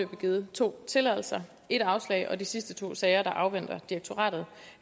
givet to tilladelser et afslag og i de sidste to sager afventer direktoratet